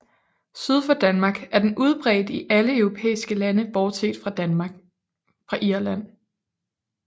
Syd for Danmark er den udbredt i alle europæiske lande bortset fra Irland